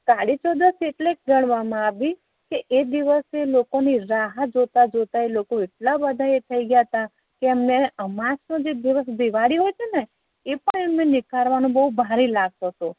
કાળી ચૌદસ એટલે ગણવા મા આવી કે એ દિવશે લોકો ની રાહ જોતા જોતા એ લોકો એટલા બેધા એ થઇ ગયા તા કે એમ ને અમાસ નો જે દિવસ દિવાળી હોય છે ને એ પણ એમ ને નીકાળવુ બવ ભારે લાગતુ હતુ